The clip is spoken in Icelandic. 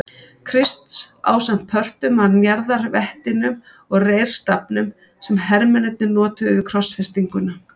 Krists ásamt pörtum af njarðarvettinum og reyrstafnum sem hermennirnir notuðu við krossfestinguna.